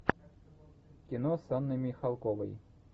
кино с анной михалковой